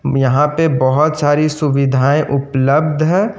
यहां पे बहुत सारी सुविधाएं उपलब्ध हैं।